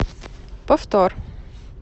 повтор